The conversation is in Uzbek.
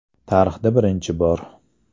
Tarixda birinchi bor!